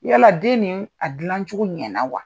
Yala den nin, a dilancogo ɲɛna na wa?